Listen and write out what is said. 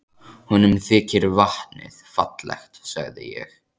Honum þykir vatnið fallegt sagði ég.